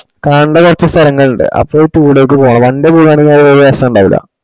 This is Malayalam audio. കാണ്ട കൊറച് സ്ഥലങ്ങള് ഇണ്ട്. അപ്പൊ two day ക്ക്‌ പോണം one day പോവാനെൽ ഒര് രസണ്ടാവൂല്ല.